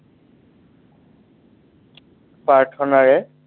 প্ৰাৰ্থনাৰে